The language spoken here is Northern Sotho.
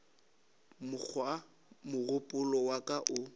mokgwa mogopolo wa ka o